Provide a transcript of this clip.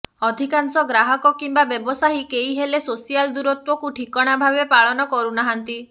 ଅଧିକାଂଶ ଗ୍ରାହକ କିମ୍ବା ବ୍ୟବସାୟୀ କେହି ହେଲେ ସୋସିଆଲ ଦୂରତ୍ୱକୁ ଠିକଣା ଭାବେ ପାଳନ କରୁନାହାନ୍ତି